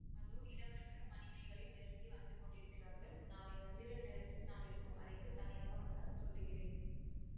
அதோ இளவரசரும் மணிமேகலையும் நெருங்கி வந்து கொண்டிருக்கிறார்கள் நாளை நள்ளிரவு நேரத்தில் நான் இருக்கும் அறைக்குத் தனியாக வந்தால் சொல்லுகிறேன்